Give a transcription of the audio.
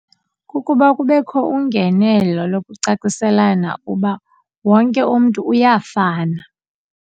Kukuba kubekho ungenelo lokucaciselana uba wonke umntu uyafana.